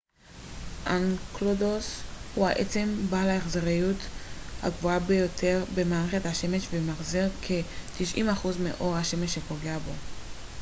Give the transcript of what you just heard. אנקלדוס הוא העצם בעל ההחזריות הגבוהה ביותר במערכת השמש ומחזיר כ-90 אחוז מאור השמש שפוגע בו